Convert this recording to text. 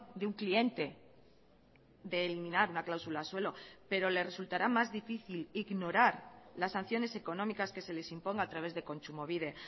de un cliente de eliminar la cláusula suelo pero le resultará más difícil ignorar las sanciones económicas que se les imponga a través de kontsumobide